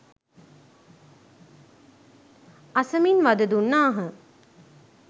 අසමින් වද දුන්නාහ.